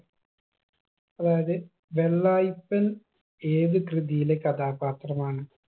അതായത് ബെല്ലായിപ്പൻ ഏത് കൃതിയിലെ കഥാപാത്രമാണ്